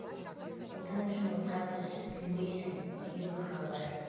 отан үшін отқа түс күймейсің деген мақал бар